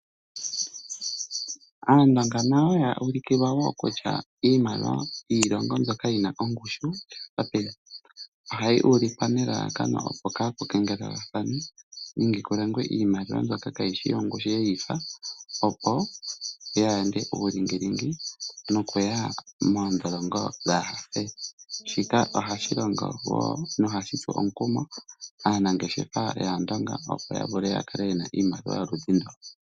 Aandonga nayo ya ulukilwa wo kutya iimaliwa yiilongo mbyoka yi na ongushu ohayi ulikwa nelalakano, opo kaa pu kengelelwathane nenge ku longwe iimaliwa mbyoka kayi shi yongushu ye yi fa, opo ya yande uulingilingi nokuya moondholongo dhaafele. Shika ohashi longo wo nohashi tsu omukumo aanangeshefa yAandonga, opo ya vule ya kale ye na iimaliwa yoludhi ndo.